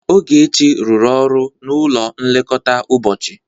Ogechi rụrụ ọrụ n'ụlọ nlekọta ụbọchị.